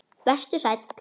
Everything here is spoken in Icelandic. Vertu sæl!